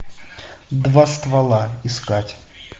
два ствола искать